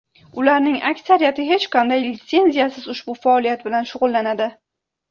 Ularning aksariyati hech qanday litsenziyasiz ushbu faoliyat bilan shug‘ullanadi.